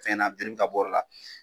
Fɛn na jeli bɛ ka bɔ o yɔrɔ la